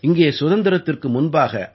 இங்கே சுதந்திரத்திற்கு முன்பாக ஐ